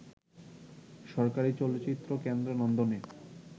সরকারি চলচ্চিত্র কেন্দ্র নন্দনে